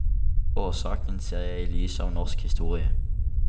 Årsaken ser jeg i lys av norsk historie.